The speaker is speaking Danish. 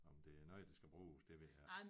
Om det er noget der skal bruges det ved jeg ikke